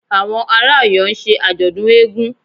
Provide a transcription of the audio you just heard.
Àwọn ará Ọ̀yọ́ ń ṣe ọdún eégún